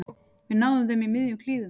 Við náðum þeim í miðjum klíðum